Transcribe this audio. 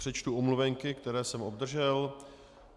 Přečtu omluvenky, které jsem obdržel.